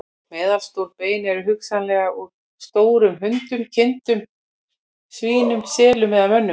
Meðalstór bein eru hugsanlega úr stórum hundum, kindum, svínum, selum eða mönnum.